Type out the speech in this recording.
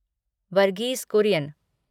Verghese Kurien